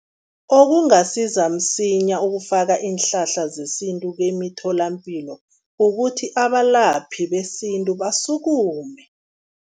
Okungasiza msinya ukufaka iinhlahla zesintu kemitholampilo, ukuthi abalaphi besintu basukume.